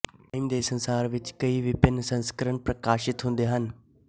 time ਦੇ ਸੰਸਾਰ ਵਿੱਚ ਕਈ ਵਿਭੰਨ ਸੰਸਕਰਣ ਪ੍ਰਕਾਸ਼ਿਤ ਹੁੰਦੇ ਹਨ